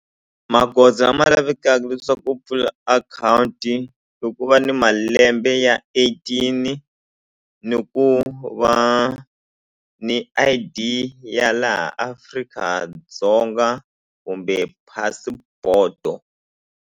Magoza ma lavekaku leswaku u pfula akhawunti i ku va ni malembe ya eighteen ni ku va ni I_D ya laha Afrika-Dzonga kumbe passport-o.